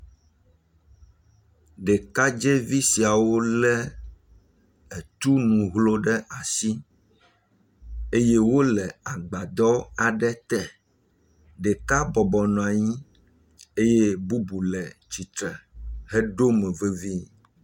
Ɖekadzɛvi siawo le etunu hlo ɖe asi eye wole agbadɔ aɖe te. Ɖeka bɔbɔ nɔ anyi eye bubu le tsi tre heɖo mo vevii.